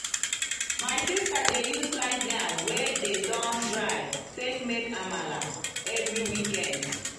my sister dey use slice yam wey dey don dry take make amala every weekend.